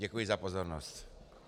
Děkuji za pozornost.